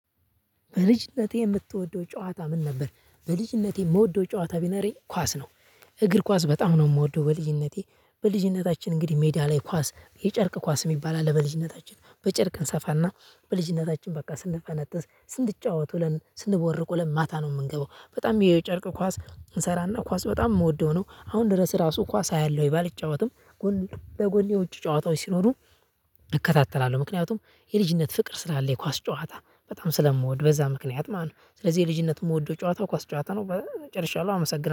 በልጅነቴ የምትወደው ጨዋታ ምን ነበር? በልጅነቴ የምወደው ጨዋታ ቢኖረኝ ኳስ ነው እግር ኳስ በጣም ነው የምወደው በልጅነቴ። በልጅነታችን እንግዲህ ሜዳ ላይ ኳስ የጨርቅ ኳስ የሚባል አለ። በልጅነታችን በጨርቅ እንሰፋና በልጅነታችን በቃ ስንፈነጥዝ ስንጫወት ወለን ስንቦርቁ ውለን ማታ ነው የምንገባው። በጣም የጨርቅ ኳስ እንሰራና ኳስ በጣም የምወደው ነው። አሁን ድረስ ራሱ ኳስ አያለው ቢልጫወትም ጎን በጎን የውጭ ጨዋታዎች ሲኖሩ እከታተላለሁ። ምክንያቱም የልጅነት ፍቅር ስላለ የኳስ ጨዋታ በጣም ስለምወድ በዛ ምክንያት ማለት ነው። ስለዚህ የልጅነት የምወደው ጨዋታ ኳስ ጨዋታ ነው ጨርሻለሁ። አመሰግናለሁ